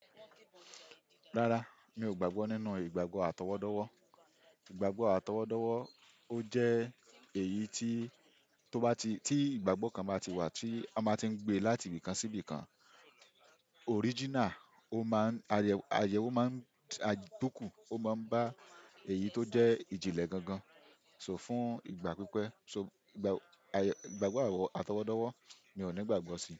Rárá, mi ò gbàgbọ́ nínú ìgbàgbọ́ àtọwọ́dọ́wọ́. Ìgbàgbọ́ àtọwọ́dọ́wọ́ ó jẹ́ èyí tí, tó bá ti, tí ìgbàgbọ́ kan bá ti wà tí a máa tí ń gbé láti ibì kan sí ibì kan, original, ó máa ń ayẹ, ayẹwo máa ń dọ́kù, ó máa ń bá èyí tó jẹ́ ìjìnlẹ̀ gangan. So fún ìgbà pípẹ́, so ìgbà, ìgbàgbọ́ àtọwọ́dọ́wọ́ mi ò ní ìgbàgbọ́ sí.